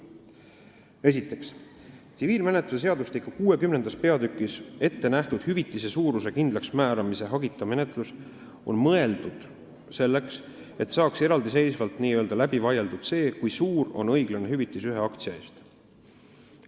Esiteks, tsiviilkohtumenetluse seadustiku 60. peatükis ettenähtud hüvitise suuruse kindlaksmääramise hagita menetlus on mõeldud selleks, et saaks eraldiseisvalt n-ö läbi vaieldud see, kui suur on õiglane hüvitis ühe aktsia eest.